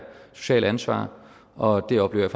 sociale ansvar og det oplever